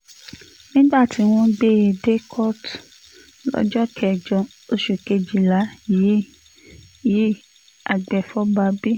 nígbà tí wọ́n gbé e dé kóòtù lọ́jọ́ kẹjọ oṣù kejìlá yìí yìí agbefọ́ba b